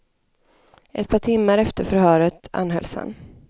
Ett par timmar efter förhöret anhölls han.